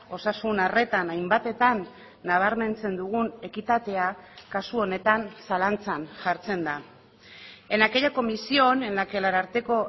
osasun arretan hainbatetan nabarmentzen dugun ekitatea kasu honetan zalantzan jartzen da en aquella comisión en la que el ararteko